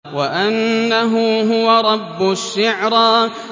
وَأَنَّهُ هُوَ رَبُّ الشِّعْرَىٰ